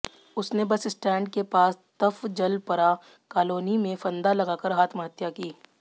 उसने bus stand के पास तफजलपरा कालोनी में फंदा लगाकर आत्महत्या की